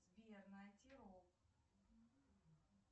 сбер найти рок